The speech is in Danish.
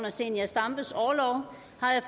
zenia stampes orlov